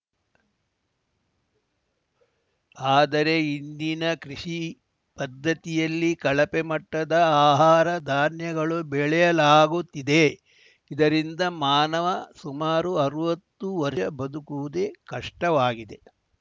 ಆದರೆ ಇಂದಿನ ಕೃಷಿ ಪದ್ಧತಿಯಲ್ಲಿ ಕಳಪೆ ಮಟ್ಟದ ಆಹಾರ ಧಾನ್ಯಗಳು ಬೆಳೆಯಲಾಗುತ್ತಿದೆ ಇದರಿಂದ ಮಾನವ ಸುಮಾರು ಅರ್ವತ್ತು ವರ್ಷ ಬದುಕುವುದೇ ಕಷ್ಟವಾಗಿದೆ